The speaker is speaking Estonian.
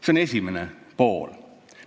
See on esimene asi.